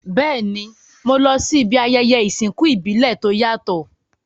Béèni, mo lo si ibi ayẹyẹ ìsìnkú ìbílẹ̀ to yàtò